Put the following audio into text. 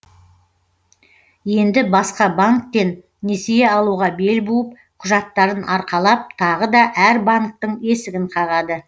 енді басқа банктен несие алуға бел буып құжаттарын арқалап тағы да әр банктің есігін қағады